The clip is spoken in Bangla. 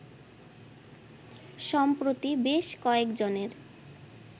সম্প্রতি বেশ কয়েকজনের